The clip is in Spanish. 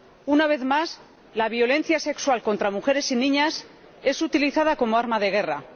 Una vez más, la violencia sexual contra mujeres y niñas es utilizada como arma de guerra.